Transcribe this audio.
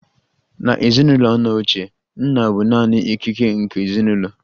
N'ezinụlọ nna ochie, nna bụ naanị ikike nke ezinụlọ